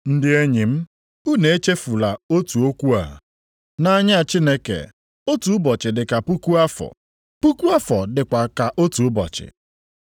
Ndị enyi m, unu echefula otu okwu a, nʼanya Chineke, otu ụbọchị dịka puku afọ, puku afọ dịkwa ka otu ụbọchị.